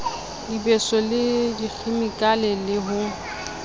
dibeso le dikhemikale le ho